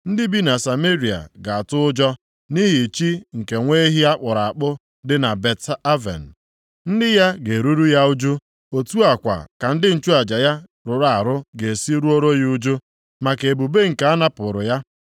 Ndị bi na Sameria ga-atụ ụjọ nʼihi chi nke nwa ehi a kpụrụ akpụ dị na Bet-Aven. + 10:5 Bet-Aven pụtara ụlọ ihe ajọ aha ịkwa emo Betel; Betel nke pụtara ụlọ Chineke Ndị ya ga-eruru ya ụjụ, otu a kwa ka ndị nchụaja ya rụrụ arụ ga-esi ruoru ya ụjụ, maka ebube nke a napụrụ ya.